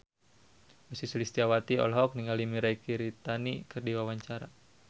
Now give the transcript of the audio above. Ussy Sulistyawati olohok ningali Mirei Kiritani keur diwawancara